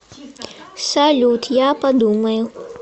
салют я подумаю